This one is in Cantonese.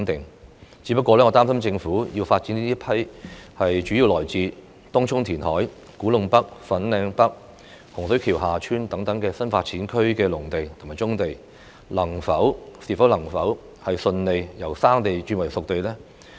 我只是擔心，政府在發展這批主要來自東涌填海、古洞北/粉嶺北、洪水橋/厦村等新發展區的農地和棕地之時，能否順利把它們由"生地"變成"熟地"呢？